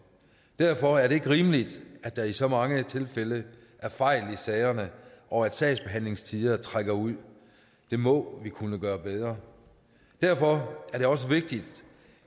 derfor er det ikke rimeligt at der i så mange tilfælde er fejl i sagerne og at sagsbehandlingstider trækker ud det må vi kunne gøre bedre derfor er det også vigtigt